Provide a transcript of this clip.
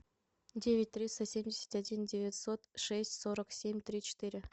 девять триста семьдесят один девятьсот шесть сорок семь три четыре